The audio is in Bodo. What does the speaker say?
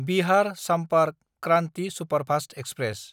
Bihar Sampark Kranti superfast express